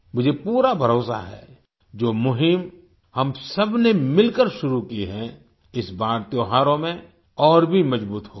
मुझे पूरा भरोसा है जो मुहिम हम सबने मिलकर शुरू की है इस बार त्योहारों में और भी मजबूत होगी